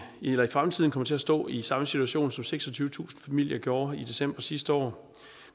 fremtiden kommer til at stå i samme situation som seksogtyvetusind familie gjorde i december sidste år